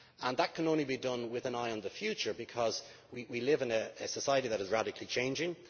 That can only be done with an eye on the future, because we live in a society that is radically changing.